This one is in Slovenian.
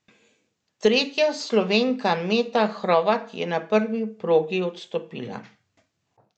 Tretja Slovenka Meta Hrovat je na prvi progi odstopila.